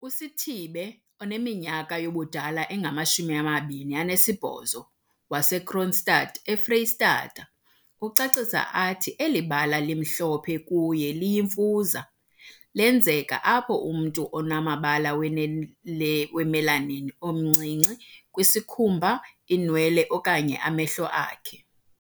USithibe, oneminyaka yobudala engama-28, waseKroonstad, eFreyistatha, ucacisa athi eli bala limhlophe kuye liyimfuza. Lenzeka apho umntu anombala we-melanin omncinci kwisikhumba, iinwele okanye amehlo akhe.